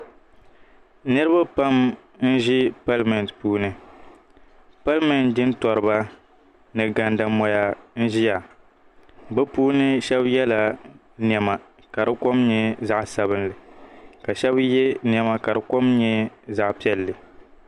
niriba pam n-ʒi palimɛnti puuni palimɛnti jintɔriba ni gandamɔya n-ʒia bɛ puuni shɛba yɛla nɛma ka di kom nyɛ zaɣ' sabilinli ka shɛba ye nɛma ka di kom nyɛ zaɣ' piɛlli